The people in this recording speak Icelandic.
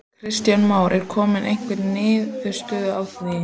Kristján Már: Er komin einhver niðurstaða í því?